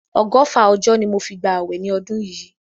Ọgọ́fà ọjọ́ ni mo fi gba àwẹ̀ ni ọdún yìí.